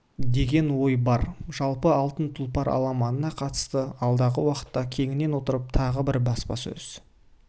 деген ой бар жалпы алтын тұлпар аламанына қатысты алдағы уақытта кеңінен отырып тағы бір баспасөз